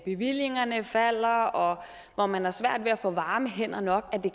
bevillingerne falder og hvor man har svært ved at få varme hænder nok kan